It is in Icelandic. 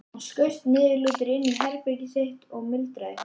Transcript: Hann skaust niðurlútur inn í herbergið sitt og muldraði eitthvað.